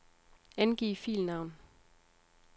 Angiv filnavn.